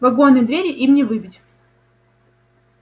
вагонные двери им не выбить